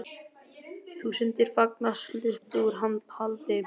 Þúsundir fanga sluppu úr haldi